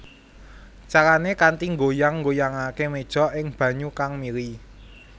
Carané kanthi nggoyang nggoyangaké méja ing banyu kang mili